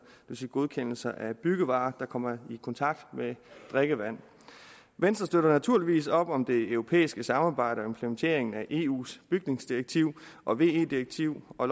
vil sige godkendelser af byggevarer der kommer i kontakt med drikkevand venstre støtter naturligvis op om det europæiske samarbejde og implementeringen af eus bygningsdirektiv og ve direktiv og